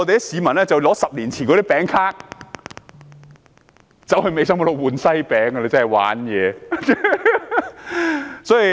市民更拿出10年前的餅卡到店兌換西餅，真是"玩嘢"。